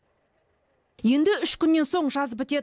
енді үш күннен соң жаз бітеді